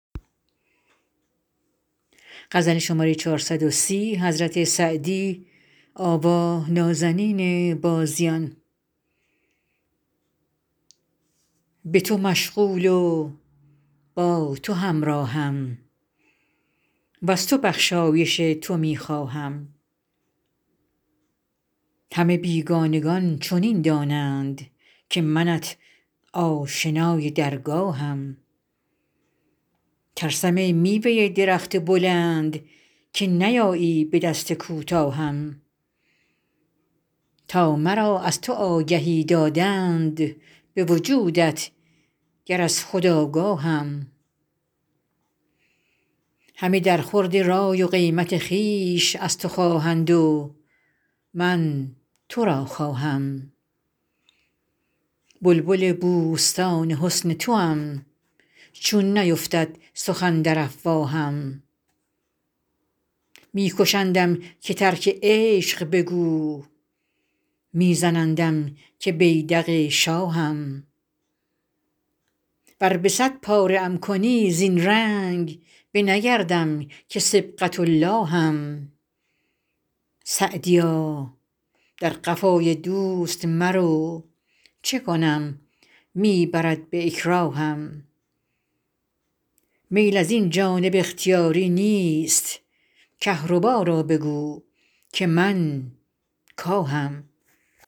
به تو مشغول و با تو همراهم وز تو بخشایش تو می خواهم همه بیگانگان چنین دانند که منت آشنای درگاهم ترسم ای میوه درخت بلند که نیایی به دست کوتاهم تا مرا از تو آگهی دادند به وجودت گر از خود آگاهم همه در خورد رای و قیمت خویش از تو خواهند و من تو را خواهم بلبل بوستان حسن توام چون نیفتد سخن در افواهم می کشندم که ترک عشق بگو می زنندم که بیدق شاهم ور به صد پاره ام کنی زین رنگ نه بگردم که صبغة اللهم سعدیا در قفای دوست مرو چه کنم می برد به اکراهم میل از این جانب اختیاری نیست کهربا را بگو که من کاهم